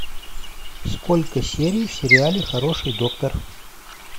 сколько серий в сериале хороший доктор